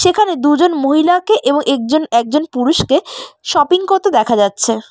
এখানে দুজন মহিলাকে এবং একজন একজন পুরুষকে শপিং করতে দেখা যাচ্ছে।